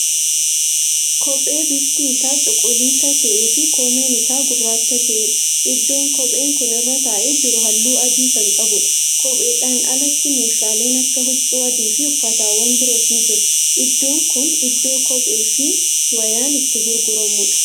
Kophee bifni Isaa cuquluisa ta'eefi koomeen Isaa gurraacha ta'eedha. iddoon kophee Kun irra taa'ee jiru halluu adii Kan qabuudha. kopheedhaan alaatti meeshaaleen Akka huccuu adiifi uffatawwan biroos ni jiru. iddoon Kun iddoo kopheefi wayaan itti gurguramuudha.